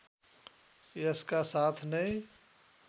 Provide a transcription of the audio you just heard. यसका साथ नै